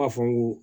A fɔ n ko